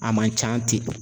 A man can ten.